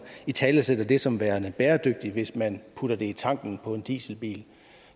italesætter det som værende bæredygtigt hvis man putter det i tanken på en dieselbil